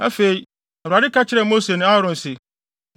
Afei, Awurade ka kyerɛɛ Mose ne Aaron se,